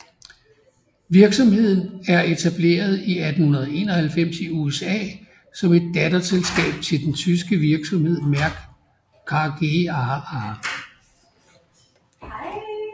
Virksomheden er etableret i 1891 i USA som et datterselskab til den tyske virksomhed Merck KGaA